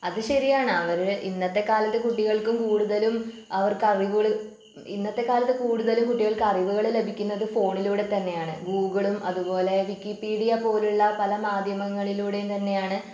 അത് ശരിയാണ് അവര് ഇന്നത്തെ കാലത്ത് കുട്ടികൾക്ക് കൂടുതലും അവർക്ക് അറിവുകള് ഇന്നത്തെ കാലത്ത് കൂടുതലും കുട്ടികൾക്ക് അറിവുകള് ലഭിക്കുന്നത് ഫോണിലൂടെ തന്നെയാണ് ഗൂഗിളും അതുപോലെ വിക്കിപീഡിയ പോലുള്ള പല മാധ്യമങ്ങളിലൂടെയും തന്നെയാണ്